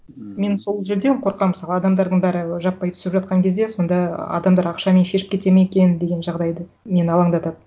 ммм мен сол жерден қорқамын мысалы адамдардың бәрі жаппай түсіп жатқан кезде сонда адамдар ақшамен шешіп кетеді ме екен деген жағдайды мені алаңдатады